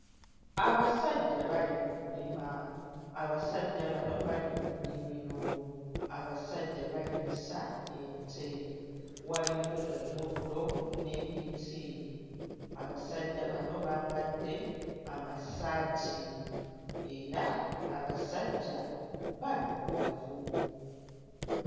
Abasajja bali mu kulima, abasajja bano bali mu nnimiro, abasajja balimisa ente, waliwo omuddo n'emiti, abasajja bano bambadde amasaati era abasajja baddugavu.